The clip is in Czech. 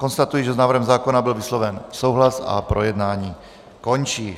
Konstatuji, že s návrhem zákona byl vysloven souhlas a projednávání končí.